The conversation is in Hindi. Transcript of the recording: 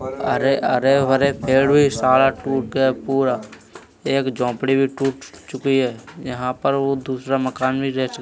अरे अरे वरे पेड़ भी सारा टूट गया पूरा एक झोपड़ी भी टूट चुकी है यहां पर वो दूसरा मकान भी